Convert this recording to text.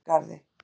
Norðurgarði